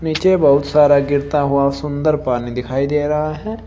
नीचे बहुत सारा गिरता हुआ सुंदर पानी दिखाई दे रहा है।